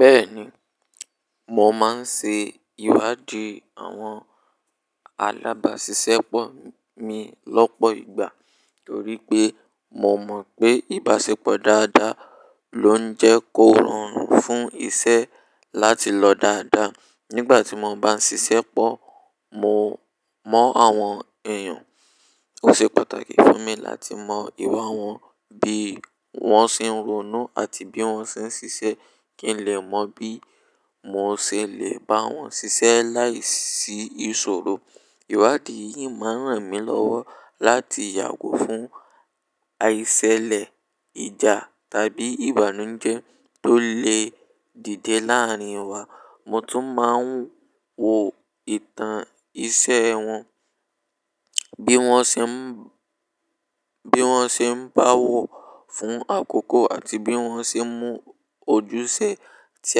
Bẹ́ẹ̀ni, mo máa ń ṣe ìwádìí àwọn alábáṣiṣẹ́ pọ̀ mi lọ́pọ̀ ìgbà torí pé mo mọ̀ pé ìbáṣepọ̀ dáadáa ló ń jẹ́ kó rọrùn fún iṣẹ́ láti lọ dáadáa. Nígbà tí mo bá ń ṣiṣẹ́ pọ̀ mo mọ àwọn èèyàn, ó ṣe pàtàkì fún mi láti mọ ìwà wọn, bí wọ́n ṣe ń ronú àti bí wọ́n ṣe ń ṣiṣẹ́ kí n lè mọ bí mo ṣe lè bá wọn ṣiṣẹ́ láìsí ìṣòro. Ìwádìí yìí máa ń ràn mí lọ́wọ́ láti yàgò fún àìṣẹ̀lẹ̀, ìjà tàbí ìbànújẹ́ tó lè dìde láàárín wa. Mo tún máa ń wo ìtàn iṣẹ́ wọn, bí wọ́n ṣe ń, bí wọ́n ṣe ń bowọ fún àkókò àti bí wọ́n ṣe mú ojúṣe tí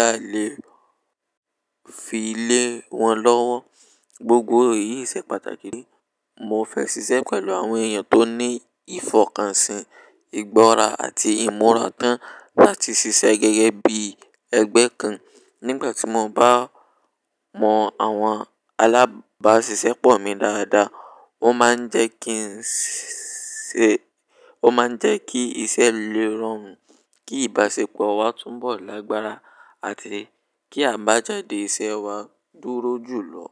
a lè fi lé wọn lọ́wọ́. Gbogbo èyí ṣe pàtàkì rí. Mo fẹ́ ṣiṣẹ́ pẹ̀lú àwọn èèyàn tó ní ìfọkànsìn, ìgbọ́ra àti ìmúra tán láti ṣiṣẹ́ gẹ́gẹ́ bí ẹgbẹ́ kan. Nígbà tí mo bá mọ àwọn alábáṣiṣẹ́ pọ̀ mi dáadáa, ó máa ń jẹ́ kí ń ṣe, ó máa ń jẹ́ kí iṣẹ́ lé rọrùn, kí ìbáṣepọ̀ wa túnbọ̀ lágbára àti kí àbájáde iṣẹ́ wa dúró jùlọ.